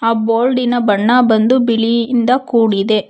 ಆ ಬೋರ್ಡಿನ ಬಣ್ಣಬಂದು ಬಿಳಿಯಿಂದ ಕೂಡಿದೆ.